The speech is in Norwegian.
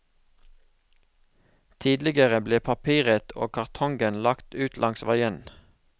Tidligere ble papiret og kartongen lagt ut langs veien.